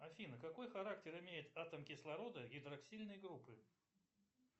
афина какой характер имеет атом кислорода гидроксильной группы